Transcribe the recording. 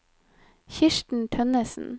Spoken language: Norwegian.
Kirsten Tønnesen